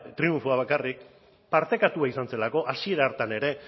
triunfoa bakarrik partekatua izan zelako hasiera hartan ere